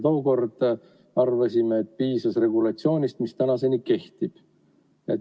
Tookord arvasime, et piisas regulatsioonist, mis tänaseni kehtib.